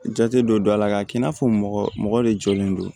Jate dɔ don a la k'a kɛ i n'a fɔ mɔgɔ mɔgɔ de jɔlen don